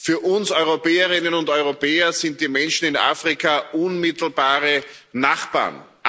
Für uns Europäerinnen und Europäer sind die Menschen in Afrika unmittelbare Nachbarn.